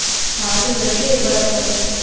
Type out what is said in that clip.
હા તે જજે એક વાર ફરવા